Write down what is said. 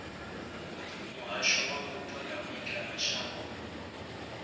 muhasho wa mupo na vhuendelamashango